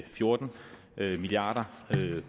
fjorten milliard